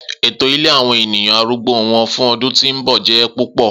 Eto ile awọn eniyan arùgbó wọn fun ọdun ti n bọ jẹ pupọ.